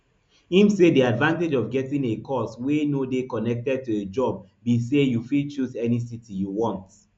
im say di advantage of getting a cos wey no dey connected to a job be say you fit choose any city you want